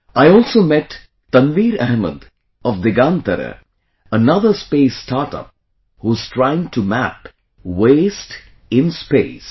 I also met Tanveer Ahmed of Digantara, another space startup who is trying to map waste in space